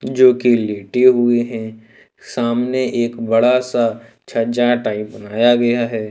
जो कि लेटे हुए हैं सामने एक बड़ा सा छज्जा टाइप बनाया गया है।